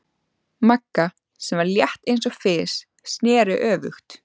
Magga, sem var létt eins og fis, sneri öfugt.